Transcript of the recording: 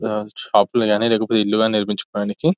షాపులు కానీ లేదా ఇండ్లు నిర్మించుకోవడానికి --